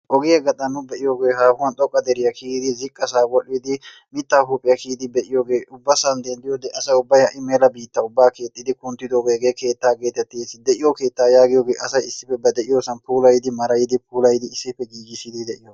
ogiyaa gaxaan nu be'iyooge haahuwan xoqqa deriyaa kiyyidi, ziqqasaa wodhdhidi mittaa huuphiyaa kiyyidi be'iyoodge ubbasan asa ubbay ha'i mela biitta ubbaa keexxidi kunttidooge hegee keetta getettees. de'iyo keetta yaagiyooge asay issippe ba de'iyoosan puulayidi maarayidi puulayidi issippe giigissidi de'iyooga.